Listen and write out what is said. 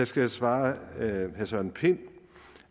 skal jeg svare herre søren pind